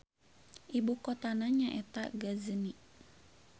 Ibu kotana nyaeta Kota Ghazni.